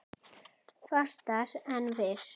Fastar en fyrr.